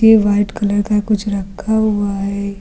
ये white colour का कुछ रखा हुआ है।